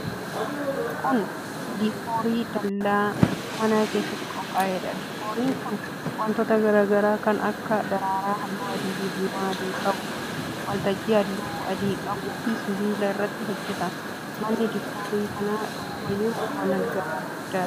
Kun, diikoorii dallaa manaa keessatti qophaa'e dha. Diikooriin kun, wantoota garaa garaa kan akka :daraaraa haalluu adii fi diimaa adii qau, waltajjii haalluu adii qabuu fi sibiila irraa hojjatame. Manni diikoorii kana duuba jiru mana gamoo guddaa dha.